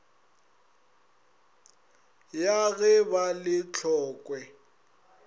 ya ge ba le tlokwe